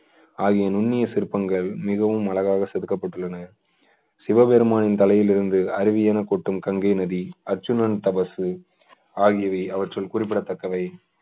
ஆகிய நுண்ணிய சிற்பங்கள் மிகவும் அழகாக செதுக்கப்பட்டுள்ளன சிவபெருமானின் தலையிலிருந்து அருவியென கொட்டும் கங்கை நதி அர்ச்சுனன் தவசு ஆகியவை அவற்றில் குறிப்பிடத்தக்கவை